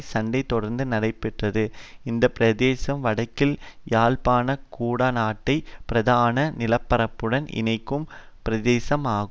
சண்டை தொடர்ந்து நடைபெற்றது இந்த பிரதேசம் வடக்கில் யாழ்ப்பாண குடாநாட்டை பிரதான நிலப்பரப்புடன் இணைக்கும் பிரதேசமாகும்